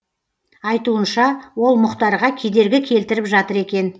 айтуынша ол мұхтарға кедергі келтіріп жатыр екен